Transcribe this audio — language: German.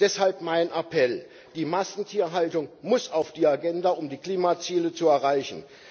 Deshalb mein Appell Die Massentierhaltung muss auf die Agenda, um die Klimaziele zu erreichen.